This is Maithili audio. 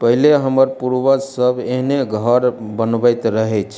पहिले हमर पूर्वज सब एहने घर बनवैत रहेछ।